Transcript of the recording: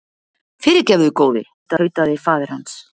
Fyrirgefðu góði, tautaði faðir hans.